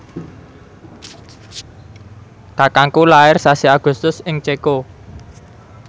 kakangku lair sasi Agustus ing Ceko